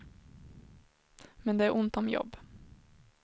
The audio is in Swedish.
Men det är ont om jobb.